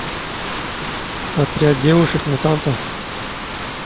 отряд девушек мутантов